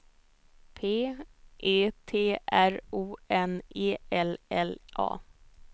P E T R O N E L L A